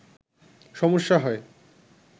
সমস্যা হয়